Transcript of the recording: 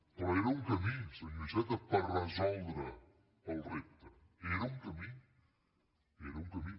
però era un camí senyor iceta per resoldre el repte era un camí era un camí